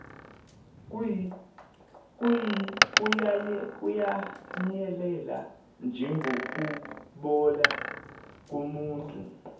kuyanyelela njengokubola komuthi